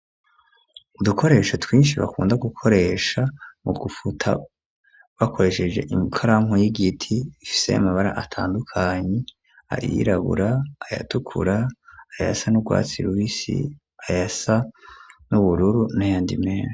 Udukoresho twishi bakunda gukoresha mu gufuta bakoresheje ikaramu y'igiti ifise amabara atandukanye ayirabura ayatukura ayasa n'urwatsi rubisi ayasa n'ubururu n'ayandi meshi.